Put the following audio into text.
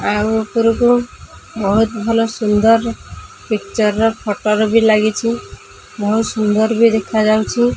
ଆଉ ଉପରକୁ ବହୁତ୍ ଭଲ ସୁନ୍ଦର ପିକ୍ଚର ର ଫଟୋ ର ବି ଲାଗିଛି ବହୁତ ସୁନ୍ଦର ବି ଦେଖାଯାଉଛି।